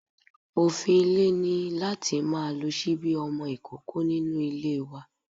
Òfin ilé ni láti má lo ṣíbí ọmọ ìkókó nínú ilé wa.